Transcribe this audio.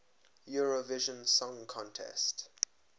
eurovision song contest